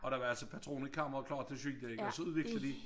Og der var altså patroner i kammeren klar til at skyde ik og så udviklede de